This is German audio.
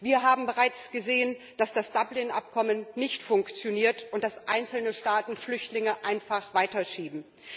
Wir haben bereits gesehen, dass das Dublin Übereinkommen nicht funktioniert und dass einzelne Staaten Flüchtlinge einfach weiterschieben.